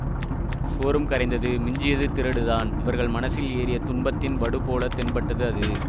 சுவரும் கரைந்தது மிஞ்சியது திரடுதான் இவர்கள் மனசில் ஏறிய துன்பத்தின் வடுப் போல தென்பட்டது அது